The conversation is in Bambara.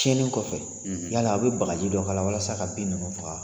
Tiɲɛlen kɔfɛ yala aw bɛ bagaji dɔ k'a walasa ka bin ninnu faga